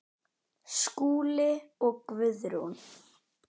Skúli og Guðrún.